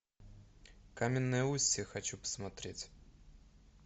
каменное устье хочу посмотреть